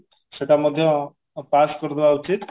ସେଟା ମଧ୍ୟ pass କରିଦବା ଉଚିତ